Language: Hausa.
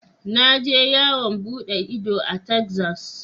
Na je yawon bude ido a tezas.